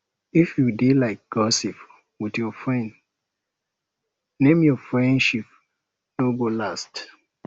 if you dey like gossip with your friend name your friendship no go last